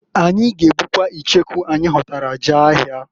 Anyị g'ebukwa icheku anyị ghọtara jee ahịa.